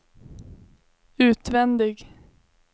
utvändig